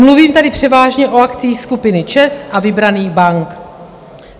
Mluvím tady převážně o akciích skupiny ČEZ a vybraných bank.